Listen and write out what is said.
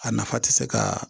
A nafa tɛ se ka